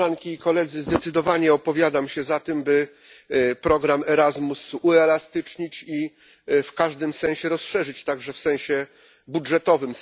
Koleżanki i Koledzy! Zdecydowanie opowiadam się za tym, by program Erasmus uelastycznić i w każdym sensie rozszerzyć, także w sensie budżetowym.